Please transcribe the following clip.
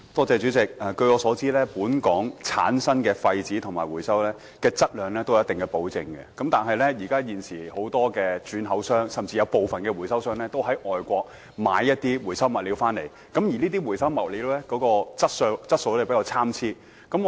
主席，據我所知，本港產生和回收的廢紙質量有一定保證，但現時很多轉口商以至部分回收商仍會在外地購買回收物料，而這些回收物料的質素比較參差。